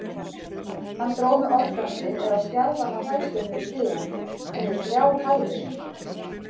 Hann dró mig organdi eða stjarfan af hræðslu niður stigann, niður þrjár hæðir.